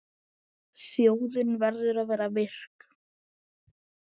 Þjóðin verður að vera virk.